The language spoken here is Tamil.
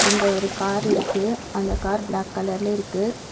இங்க ஒரு கார் இருக்கு அந்த கார் பிளாக் கலர்ல இருக்கு.